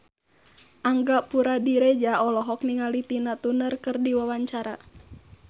Angga Puradiredja olohok ningali Tina Turner keur diwawancara